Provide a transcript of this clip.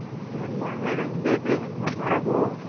ಏನು ಮಾಡ ಏನು ಹಿಂಗೆ ಇದ್ರೆ ಏನ್ ಮಾಡೋದು